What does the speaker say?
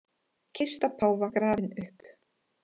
Kista páfa grafin upp